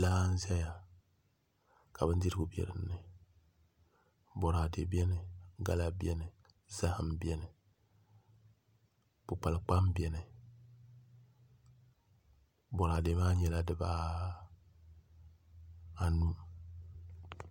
Laa n ʒɛya ka bindirigu bɛ dinni boraadɛ buni gala bɛni zaham bɛni kpukpali kpam bɛni boraadɛ maa nyɛla dibaanu